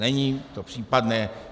Není to případné.